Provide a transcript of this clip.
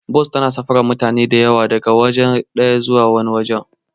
Bas tana sufurin mutane da yawa daga waje ɗaya zuwa wani waje.